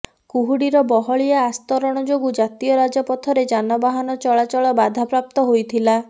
କୁହୁଡ଼ିର ବହଳିଆ ଆସ୍ତରଣ ଯୋଗୁଁ ଜାତୀୟ ରାଜପଥରେ ଯାନବାହନ ଚଳାଚଳ ବାଧାପ୍ରାପ୍ତ ହୋଇଥିଲା